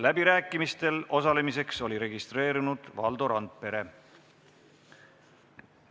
Läbirääkimistel osalemiseks oli registreerunud Valdo Randpere.